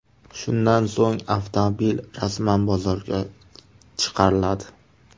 Shundan so‘ng avtomobil rasman bozorga chiqariladi.